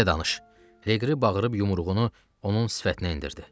Liqri bağırıb yumruğunu onun sifətinə endirdi.